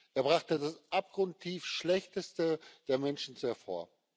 Er brachte das abgrundtief Schlechteste der Menschen hervor.